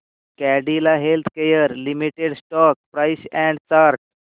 Cadila healthcare limited stock price and chart